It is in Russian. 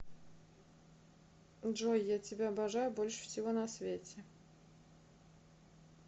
джой я тебя обожаю больше всего на свете